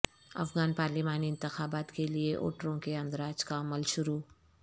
افغان پارلیمانی انتخابات کے لیے ووٹروں کے اندراج کا عمل شروع